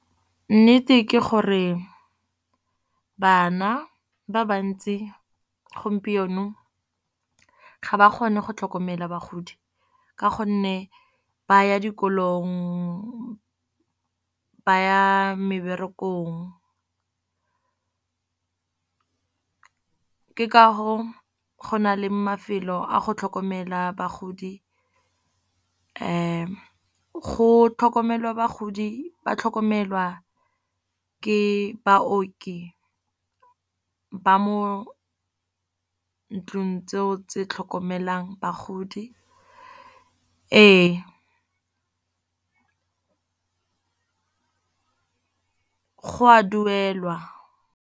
Nnete ke gore bana ba ba ntsi gompieno ga ba kgone go tlhokomela bagodi. Ka gonne ba ya dikolong, ba ya meberekong ka go na le mafelo a go tlhokomelwa bagodi. Go tlhokomelwa bagodi ba tlhokomelwa ke baoki ba mo ntlung tseo tse tlhokomelang bagodi, ee go a duelwa.